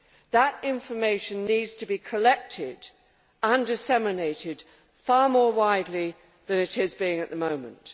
That information needs to be collected and disseminated far more widely than it is being at the moment.